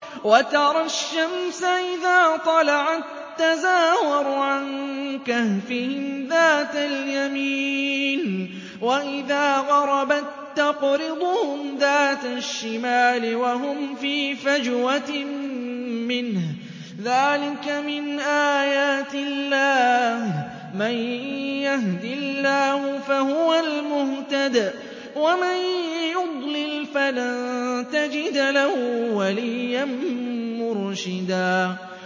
۞ وَتَرَى الشَّمْسَ إِذَا طَلَعَت تَّزَاوَرُ عَن كَهْفِهِمْ ذَاتَ الْيَمِينِ وَإِذَا غَرَبَت تَّقْرِضُهُمْ ذَاتَ الشِّمَالِ وَهُمْ فِي فَجْوَةٍ مِّنْهُ ۚ ذَٰلِكَ مِنْ آيَاتِ اللَّهِ ۗ مَن يَهْدِ اللَّهُ فَهُوَ الْمُهْتَدِ ۖ وَمَن يُضْلِلْ فَلَن تَجِدَ لَهُ وَلِيًّا مُّرْشِدًا